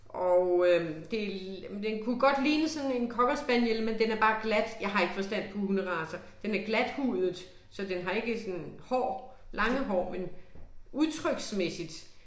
Og øh det den kunne godt ligne sådan en cockerspaniel men den er bare glat jeg har ikke forstand på hunderacer, den er glathudet så den har ikke sådan hår, lange hår men udtryksmæssigt